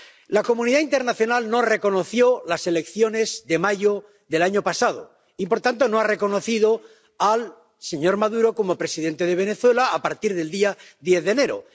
La comunidad internacional no reconoció las elecciones de mayo del año pasado y, por tanto, no ha reconocido al señor Maduro como presidente de Venezuela a partir del día 10 de enero.